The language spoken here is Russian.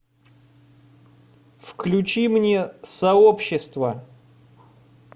включи мне сообщество